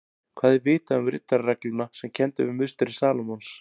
Hvað er vitað um riddararegluna sem kennd er við musteri Salómons?